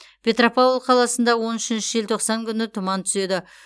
петропавл қаласында он үшінші желтоқсан күні тұман түседі